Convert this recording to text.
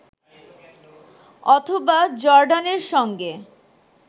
অথবা জর্ডানের সঙ্গে